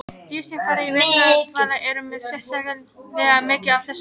Dýr sem fara í vetrardvala eru með sérstaklega mikið af þessari brúnu fitu.